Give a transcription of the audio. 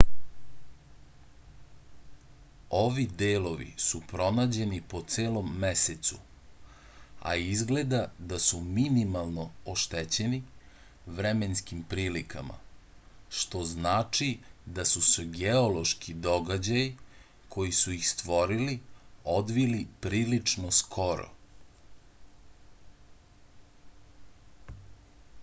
ovi delovi su pronađeni po celom mesecu a izgleda da su minimalno oštećeni vremenskim prilikama što znači da su se geološki događaju koji su ih stvorili odvili prilično skoro